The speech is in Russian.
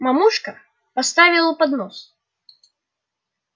мамушка поставила поднос